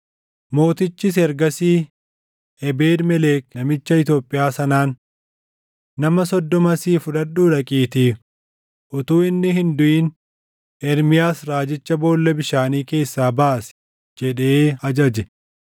Mootichis ergasii Ebeed-Melek namicha Itoophiyaa sanaan, “Nama soddoma asii fudhadhuu dhaqiitii utuu inni hin duʼin Ermiyaas raajicha boolla bishaanii keessaa baasi” jedhee ajaje.